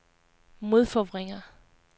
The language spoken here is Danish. modforvrænger